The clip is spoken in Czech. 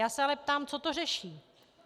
Já se ale ptám - co to řeší?